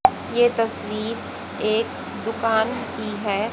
यह तस्वीर एक दुकान की है।